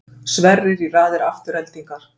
Sverrir í raðir Aftureldingar